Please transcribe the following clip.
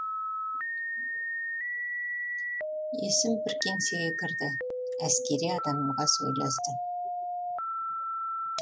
есім бір кеңсеге кірді әскери адамға сөйлесті